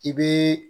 I bɛ